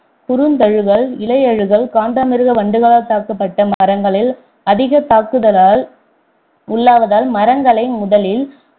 குருந்தழுகல் இலையழுகல் காண்டமிருக வண்டுகளால் தாக்கப்பட்ட மரங்களில் அதிகம் தாக்குதலால் உள்ளாவதால் மரங்களை முதலில்